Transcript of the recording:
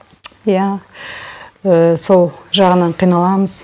иә сол жағынан қиналамыз